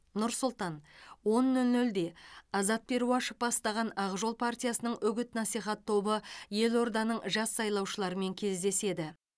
нұр сұлтан он нөл нөлде азат перуашев бастаған ақ жол партиясының үгіт насихат тобы елорданың жас сайлаушыларымен кездеседі